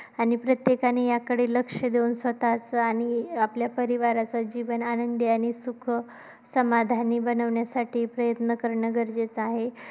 आणि प्रत्येकाने याकडे लक्ष देऊन स्वतःचा आणि आपल्या परिवाराचा जीवन आनंदी आणि सुख, समाधानी बनवण्यासाठी प्रयत्न करणे गरजेचे आहे.